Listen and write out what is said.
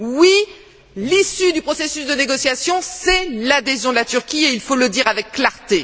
Oui, l'issue du processus de négociation, c'est l'adhésion de la Turquie, et il faut le dire avec clarté.